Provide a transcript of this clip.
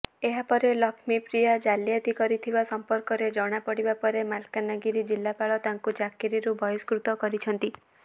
ଏହାପରେ ଲକ୍ଷ୍ମୀପ୍ରିୟା ଜାଲିଆତି କରିଥିବା ସମ୍ପର୍କରେ ଜଣାପଡ଼ିବା ପରେ ମାଲକାନଗିରି ଜିଲ୍ଲାପାଳ ତାଙ୍କୁ ଚାକିରିରୁ ବହିଷ୍କୃତ କରିଛନ୍ତି